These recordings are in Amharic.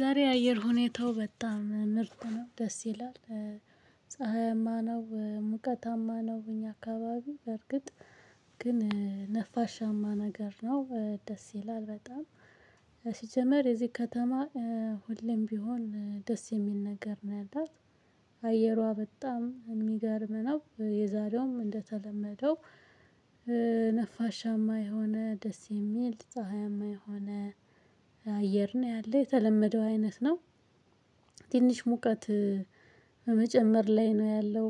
ዛሬ የአየር ሁኔታው በጣም ምርት ነው ደስ ይላል። ፀሀያማ ነው ሙቀታማ ነው እኛ አካባቢ በርግጥ ግን ነፋሻማ ነገር ነው ደስ ይላል። በጣም ሲጀመር የዚህ ከተማ ሁሌም ቢሆን ደስ የሚል ነገር ነው ያላት። አየሯ በጣም የሚገርም ነው። የዛሬውም እንደተለመደው ነፋሻማ የሆነ ደስ የሚል ፀሀያማ የሆነ አየር ነው ያለው የተለመደው አይነት ነው። ትንሽ ሙቀት በመጨመር ላይ ነው ያለው።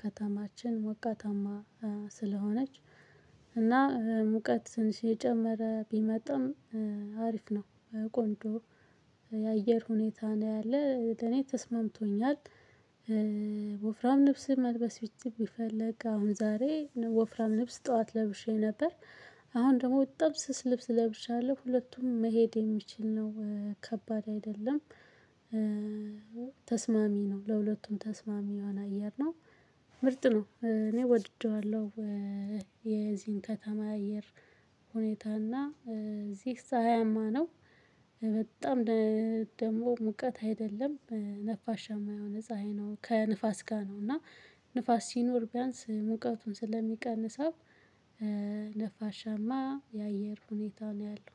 ከተማችን ሞቃታማ ስለሆነች እና ሙቀት ትንሽ እጨመረ ቢመጣም አሪፍ ነው። ቆንጆ የአየር ሁኔታ ነው ያለ ለኔ ተስማምቶኛል። ወፍራም ልብስ መልበስ ብፈልግ አሁን ዛሬ ወፍራም ነፍስ ጠዋት ለብሼ ነበር። አሁን ደግሞ በጣም ስስ ልብስ ለብሻለሁ ሁለቱም መሄድ የሚችል ነው ከባድ አይደለም። ተስማሚ ነው ለሁለቱም ተስማሚ የሆነ አየር ነው። ምርጥ ነው እኔ ወድጄዋለሁ። የዚህን ከተማ አየር ሁኔታ እና እዚህ ፀሀያማ ነው። በጣም ደግሞ ሙቀት አይደለም ነፋሻማ የሆነ ፀሀይ ነው ከንፋስ ጋር ነው እና ንፋስ ሲኖር ቢያንስ ሙቀቱን ስለሚቀንሰው። ነፋሻማ የአየር ሁኔታው ነው ያለው